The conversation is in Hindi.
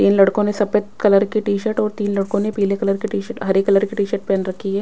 तीन लड़कों ने सफेद कलर की टी-शर्ट और तीन लड़कों ने पीले कलर की टी-शर्ट हरे कलर की टीशर्ट पहन रखी है।